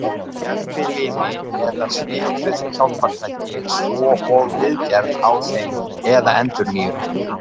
Gervilimi eða svipuð hjálpartæki svo og viðgerð á þeim eða endurnýjun.